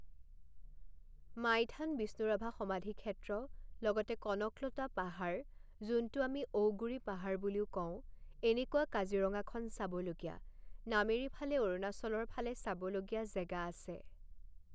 মাইথান বিষ্ণুৰাভা সমাধি ক্ষেত্ৰ লগতে কনকলতা পাহাৰ যোনটো আমি ঔগুৰি পাহাৰ বুলিও কওঁ এনেকুৱা কাজিৰঙাখন চাবলগীয়া নামেৰি ফালে অৰুণাচলৰ ফালে চাবলগীয়া জেগা আছে